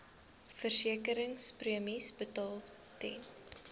versekeringspremies betaal ten